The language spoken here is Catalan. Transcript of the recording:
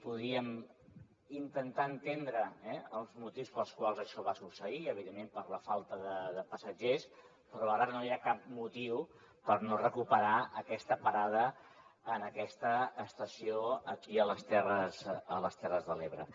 podríem intentar entendre els motius pels quals això va succeir evidentment per la falta de passatgers però ara no hi ha cap motiu per no recuperar aquesta parada en aquesta estació aquí a les terres de l’ebre